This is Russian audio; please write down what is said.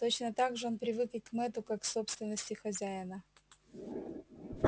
точно так же он привык и к мэтту как к собственности хозяина